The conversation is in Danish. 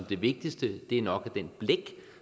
det vigtigste er nok det blæk